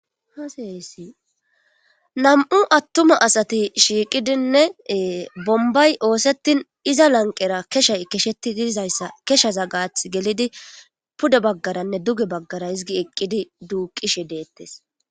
hasayysi nam7u attuma asati shiiqidinne bombay oosettin iza lanqera keshay kesheti didizayssa keshaza gaath gelidi pude baggaranne duge baggara hizgi eqqidi duuqishe deettes.